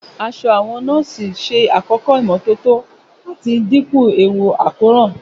Aṣọ àwọn nọ́ọ̀sì ṣe àkọ́kọ́ ìmọ́tótó àti dínkù ewu àkóràn.